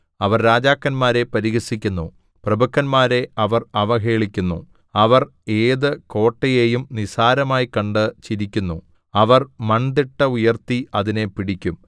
അവർ രാജാക്കന്മാരെ പരിഹസിക്കുന്നു പ്രഭുക്കന്മാരെ അവർ അവഹേളിക്കുന്നു അവർ ഏത് കോട്ടയെയും നിസ്സാരമായി കണ്ട് ചിരിക്കുന്നു അവർ മൺതിട്ട ഉയർത്തി അതിനെ പിടിക്കും